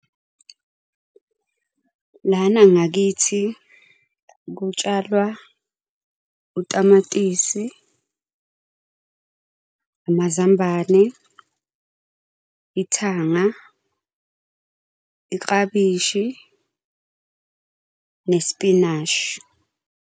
Lana ngakithi kutshalwa utamatisi, amazambane, ithanga, iklabishi nesipinashi.